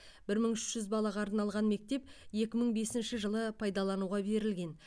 бір мың үш жүз балаға арналған мектеп екі мың бесінші жылы пайдалануға берілген